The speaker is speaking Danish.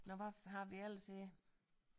Nåh hvad har vi ellers her